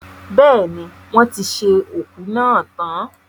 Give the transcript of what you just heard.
Bẹ́ẹ̀ni, wọ́n ti ṣe òkú náà tan.